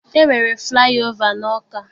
E nwere flaị ova n'Ọka.